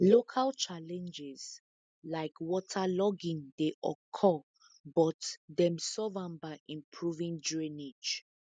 local challenges like waterlogging dey occur but dem solve am by improving drainage